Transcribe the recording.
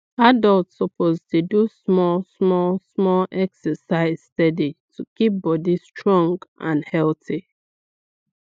adults suppose dey do small small small exercise steady to keep body strong and healthy